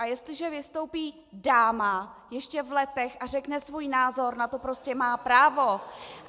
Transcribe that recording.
A jestliže vystoupí dáma, ještě v letech, a řekne svůj názor, na to prostě má právo.